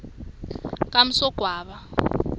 kamsogwaba